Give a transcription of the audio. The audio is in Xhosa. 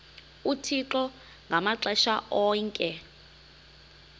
uthixo ngamaxesha onke